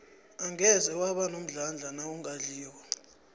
angeze waba nomdlandla nawungadliko